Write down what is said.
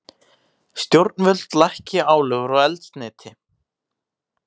Stjórnvöld lækki álögur á eldsneyti